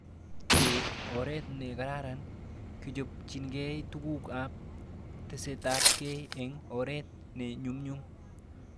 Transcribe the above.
Keip oret ne karan kechopchikei tuguk ab tesetaiabkei eng' oret ne nyumnyum